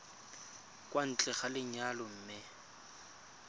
kwa ntle ga lenyalo mme